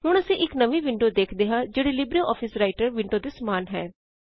ਹੁਣ ਅਸੀ ਇਕ ਨਵੀ ਵਿੰਡੋ ਵੇਖਦੇ ਹਾਂ ਜਿਹੜੀ ਲਿਬਰੇਆਫਿਸ ਰਾਇਟਰ ਵਿੰਡੋ ਦੇ ਸਮਾਨ ਹੈ